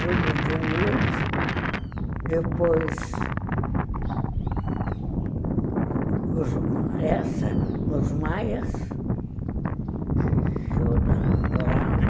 Júlio Diniz, depois... essa, Os Maias, que eu adorava,